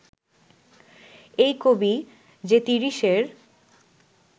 এই কবি যে তিরিশের